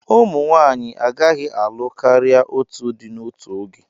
Ụmụ nwanyị agaghị alụ karịa otu di n'otu oge.